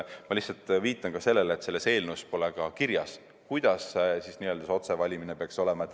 Ma lihtsalt viitan sellele, et selles eelnõus pole ka kirjas, kuidas see otsevalimine peaks olema.